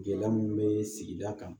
Gɛlɛya mun be sigida kan